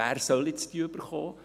Wer soll sie jetzt erhalten?